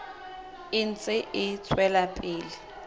e ntse e tswela pele